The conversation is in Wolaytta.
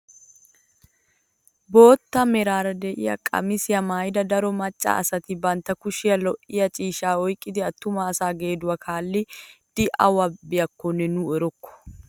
Bootta meraara de'iyaa qamisiyaa maayida daro macca asati bantta kushiyaa lo"iyaa ciishshaa oyqqidi attuma asaa geeduwaa kaallidi awu biyaakonne nu erokko!